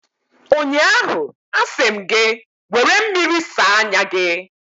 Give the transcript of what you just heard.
ụnyaahụ, a sị m gị, were mmiri saa anya gị!